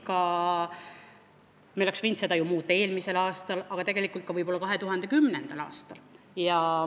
Ka meie oleksime võinud seda ju eelmisel aastal muuta, tegelikult oleks seda võinud muuta võib-olla 2010. aastal.